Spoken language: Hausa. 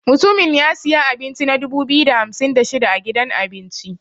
Mutumin ya siya abinci na dubu biyu da hamsin da shida a gidan abinci.